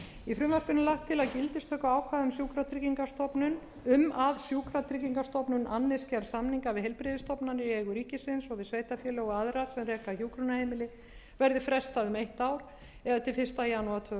í frumvarpinu er lagt til að gildistöku ákvæða um að sjúkratryggingastofnun annist gerð samninga við heilbrigðisstofnanir í eigu ríkisins og við sveitarfélög og aðra sem reka hjúkrunarheimili verði frestað um eitt ár eða til fyrsta janúar tvö þúsund og ellefu